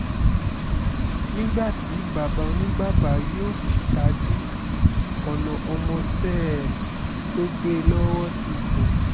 nígbà tí bàbá oníbàbà yóò fi ta jí ọ̀nà ọmọọṣẹ́ ẹ̀ tó gbé e lọ́wọ́ ti jìn